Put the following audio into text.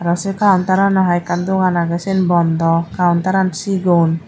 aro se counterano hai ekkan dogan agey siyan bondaw counterano sigon.